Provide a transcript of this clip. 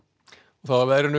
þá að veðri